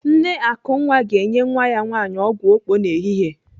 Nne Akunwa ga-enye nwa ya nwaanyị ọgwụ okpo n'ehihie.